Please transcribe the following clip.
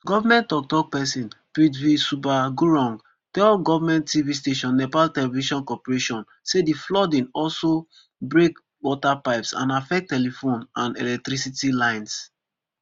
goment tok tok pesin prithvi subba gurung tell goment tv station nepal television corporation say di flooding aloso break waterpipes and affect telephone and electricity lines